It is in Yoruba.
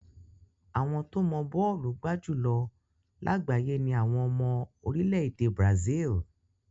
Àwọn tó mọ bọ́ọ̀lù gbá jù lọ lágbàáyé ni àwọn ọmọ orílẹ̀ èdè Brazil.